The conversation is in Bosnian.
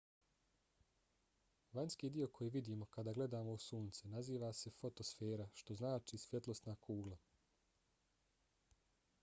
vanjski dio koji vidimo kada gledamo u sunce naziva se fotosfera što znači svjetlosna kugla